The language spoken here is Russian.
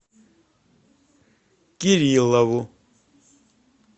кириллову